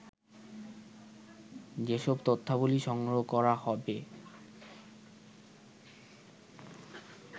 যেসব তথ্যাবলি সংগ্রহ করা হবে